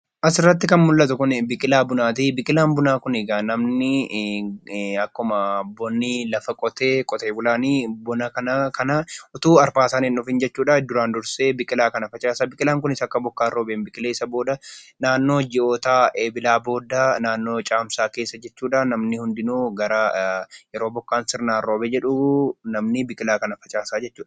Asirratti kan mul'atu kun suuraa bunaati. Biqilaan bunaa kun namni akkuma qote bulaan lafa qotee osoo arfaasaan hin dhufiin duraan dursee biqilaa kana facaasa. Kunis akka bokkaan roobeen biqilee naannoo ji'oota eebilaa booddee naannoo ji'a caamsaa keessa yeroo bokkaan sirnaan roobee jedhu namni biqilaa kana facaasa jechuudha.